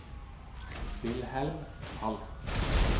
Wilhelm Falch